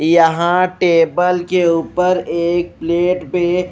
यहां टेबल के ऊपर एक प्लेट में--